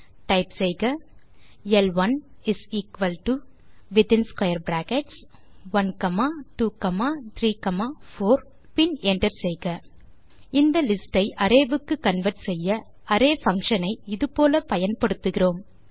type செய்க ல்1 within square brackets 1 comma 2 comma 3 comma 4 பின் என்டர் செய்க இந்த லிஸ்ட் ஐ arrayக்கு கன்வெர்ட் செய்ய அரே பங்ஷன் ஐ இது போல பயன்படுத்துகிறோம்